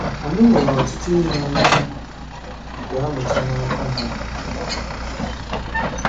Anyị nwere ọtụtụ ihe anyị ga-amụta n’aka ha.